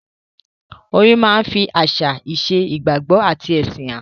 Orin máa ń fi àṣà, ìṣe, ìgbàgbọ́ àti ẹ̀sìn han.